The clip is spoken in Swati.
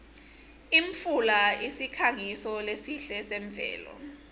imfula usikhangiso lesihle semvelo